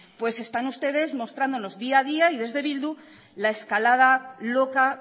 pues están ustedes mostrándonos día a día y desde bildu la escalada loca